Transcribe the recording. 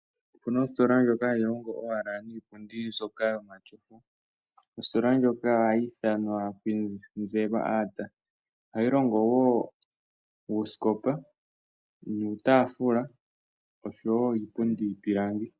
Opuna ositola ndjoka hayi longo owala niipundi mbyoka yo matyofa. Ositola ndjoka ohayi ithanwa Kwizerwa Art, ohayi longo woo uusikopa, nuutafula oshowo iipundi yiipilangi.